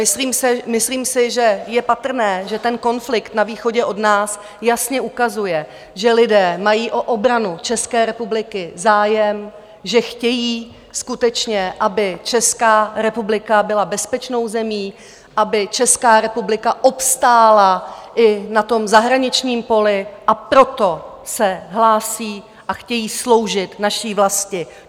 Myslím si, že je patrné, že ten konflikt na východě od nás jasně ukazuje, že lidé mají o obranu České republiky zájem, že chtějí skutečně, aby Česká republika byla bezpečnou zemí, aby Česká republika obstála i na tom zahraničním poli, a proto se hlásí a chtějí sloužit naší vlasti.